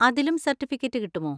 അതിലും സർട്ടിഫിക്കറ്റ് കിട്ടുമോ?